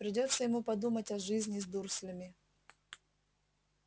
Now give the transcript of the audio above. придётся ему подумать о жизни с дурслями